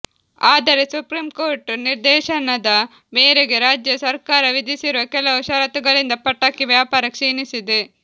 ಆದರೆ ಸುಪ್ರೀಂಕೋರ್ಟ್ ನಿರ್ದೇಶನದ ಮೇರೆಗೆ ರಾಜ್ಯ ಸರ್ಕಾರ ವಿಧಿಸಿರುವ ಕೆಲವು ಷರತ್ತುಗಳಿಂದ ಪಟಾಕಿ ವ್ಯಾಪಾರ ಕ್ಷೀಣಿಸಿದೆ